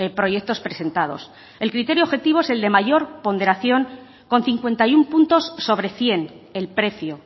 proyectos presentados el criterio objetivo es el de mayor ponderación con cincuenta y uno puntos sobre cien el precio